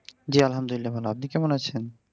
জ্বী, আলহামদুলিল্লাহ ভালো । আপনি কেমন আছেন?